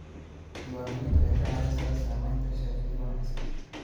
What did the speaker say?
Diiwaangelintu waxay ka caawisaa samaynta sharciyo wanaagsan.